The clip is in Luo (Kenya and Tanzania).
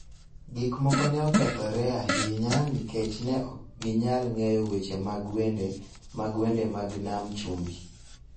Gik moko ne okethore ahinya nikech ne ok ginyal ng�eyo weche mag wende mag wende mag nam chumbi